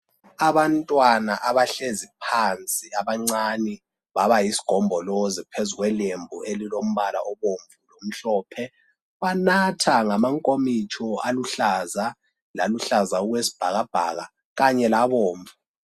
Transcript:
Abantwana abahlezi phansi abancane babayisigombolozi phezu kwelembu elilombala obomvu lomhlophe. Banatha ngamankomitsho aluhlaza, loluhlaza okwesbhakabhaka kanye labomvu.